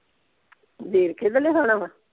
ਵੇਰਕੇ ਦਾ ਲਿਉਣਾ ਵਾ?